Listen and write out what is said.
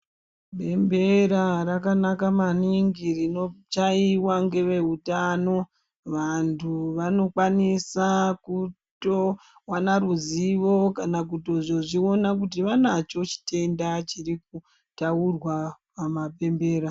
Bembera rakanaka maningi rinochaiwa neveutano. Vantu vanokwanisa kutowana ruzivo kana kuzozviona kuti vanacho chitenda chirikutaurwa pamabembera.